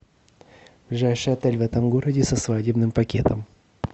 ближайший отель в этом городе со свадебным пакетом